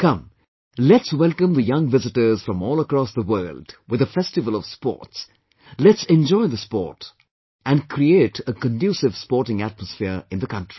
Come, let's welcome the young visitors from all across the world with the festival of Sports, let's enjoy the sport, and create a conducive sporting atmosphere in the country